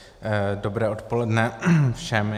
Dobré odpoledne všem.